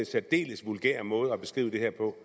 særdeles vulgær måde at beskrive det her på